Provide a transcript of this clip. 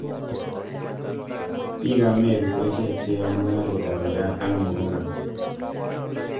biikab meru ko ichek cheyoei mung'arekab mirark ak muguka